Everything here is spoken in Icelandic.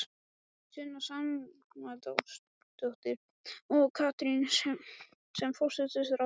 Sunna Sæmundsdóttir: Og Katrín sem forsætisráðherra?